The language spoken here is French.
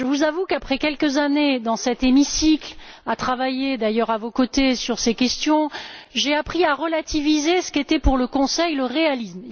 Je vous avoue qu'après quelques années passées dans cet hémicycle à travailler à vos côtés sur ces questions, j'ai appris à relativiser ce qu'était pour le Conseil le réalisme.